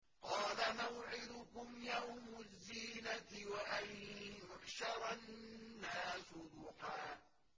قَالَ مَوْعِدُكُمْ يَوْمُ الزِّينَةِ وَأَن يُحْشَرَ النَّاسُ ضُحًى